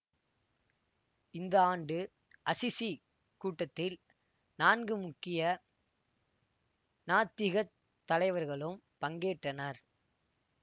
இந்த ஆண்டு அசிசி கூட்டத்தில் நான்கு முக்கிய நாத்திகத் தலைவர்களும் பங்கேற்றனர்